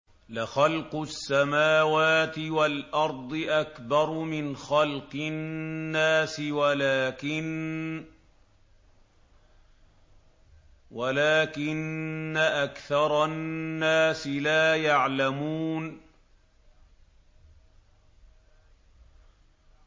لَخَلْقُ السَّمَاوَاتِ وَالْأَرْضِ أَكْبَرُ مِنْ خَلْقِ النَّاسِ وَلَٰكِنَّ أَكْثَرَ النَّاسِ لَا يَعْلَمُونَ